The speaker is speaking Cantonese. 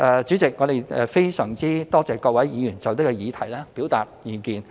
主席，我們非常多謝各位議員就這議題表達意見。